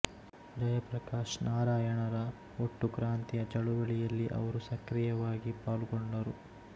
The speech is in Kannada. ಜಯಪ್ರಕಾಶ್ ನಾರಾಯಣರ ಒಟ್ಟು ಕ್ರಾಂತಿಯ ಚಳುವಳಿಯಲ್ಲಿ ಅವರು ಸಕ್ರಿಯವಾಗಿ ಪಾಲ್ಗೊಂಡರು